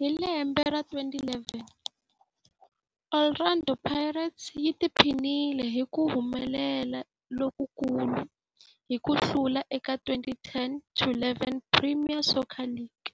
Hi lembe ra 2011, Orlando Pirates yi tiphinile hi ku humelela lokukulu hi ku hlula eka 2010-11 Premier Soccer League,